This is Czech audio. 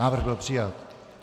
Návrh byl přijat.